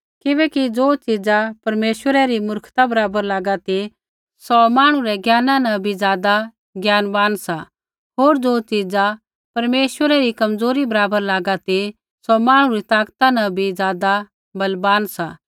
किबैकि ज़ो च़ीजा परमेश्वरै री मूर्खता बराबर लागा ती सौ मांहणु रै ज्ञाना न भी ज़ादा ज्ञानवान सा होर ज़ो च़ीजा परमेश्वरै री कमजोरी बराबर लागा ती सौ मांहणु री ताकता न भी ज़ादा बलवान सा